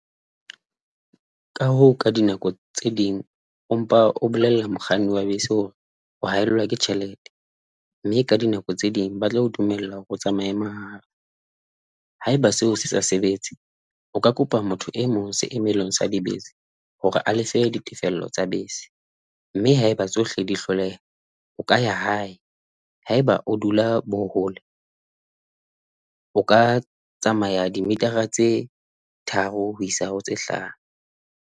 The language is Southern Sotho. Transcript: Ka hoo, ka dinako tse ding, empa o bolella mokganni wa bese hore o haellwa ke tjhelete mme ka dinako tse ding ba tla o dumella hore o tsamaye mahala. Haeba seo se sa sebetse, o ka kopa motho e mong seemelong sa dibese hore a lefe ditefello tsa bese mme haeba tsohle di hloleha, o ka ya hae. Haeba o dula bo hole, o ka tsamaya dimitara tse tharo ho isa ho tse hlano.